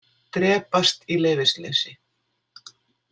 Drepast í leyfisleysi.